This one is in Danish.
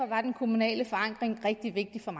var den kommunale forankring rigtig vigtig for